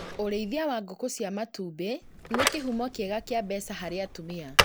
ũrĩithia wa ngũkũ cia matumbĩ nĩ kĩhumo kĩega kĩa mbeca harĩ atumia